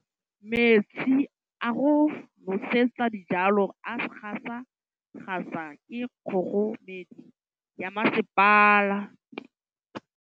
Metsi a go nosetsa dijalo a gasa gasa ke kgogomedi ya masepala.